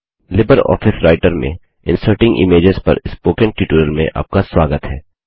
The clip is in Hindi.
लिबर ऑफिस राइटर में इन्सर्टिंग इमेजेस छवियाँ प्रविष्ट पर स्पोकन ट्यूटोरियल में आपका स्वागत है